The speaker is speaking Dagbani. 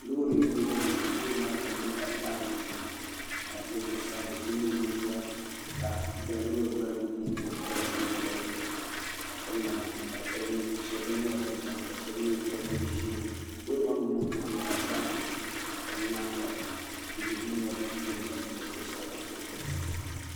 loori n ʒɛya ŋɔ loori maa kama nyɛla zaɣ nuɣso ka di zuɣusaa do so nyɛ ŋun ʒiya ka loori gbali ku nyɛ din paya ka o ʒila dizuɣu shab nyɛla ban chɛna ka shab nyɛ ban yɛn ʒi ʒili loori maa maŋ maŋ kama nyɛla zaɣ nuɣso ka di nyaanga tihi ni mori nyɛ din biɛni